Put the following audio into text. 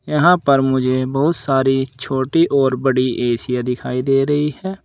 यहां पर मुझे बहुत सारी छोटी और बड़ी एसीया दिखाई दे रही है।